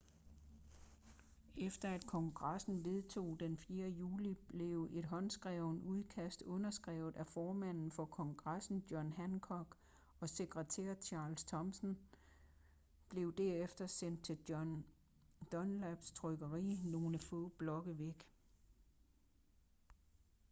efter at kongressen vedtog det den 4. juli blev et håndskrevet udkast underskrevet af formand for kongressen john hancock og sekretær charles thomsen blev derefter sendt til john dunlaps trykkeri nogle få blokke væk